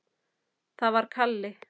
Það var Kalli.